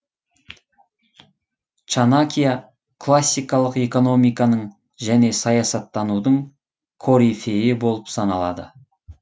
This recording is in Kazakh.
чанакья классикалық экономиканың және саясаттанудың корифейі болып саналады